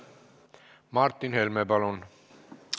Martin Helme, palun!